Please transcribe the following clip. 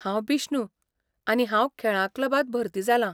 हांव बिष्णु, आनी हांव खेळां क्लबांत भरती जालां.